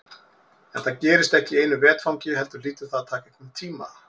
En það gerist ekki í einu vetfangi heldur hlýtur það að taka einhvern tíma.